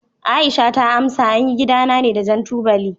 Aisha ta amsa, an yi gidana ne da jan tubali.